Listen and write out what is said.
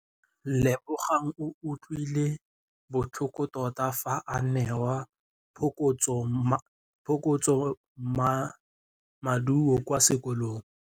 Lebogang o utlwile botlhoko tota fa a neelwa phokotsômaduô kwa sekolong.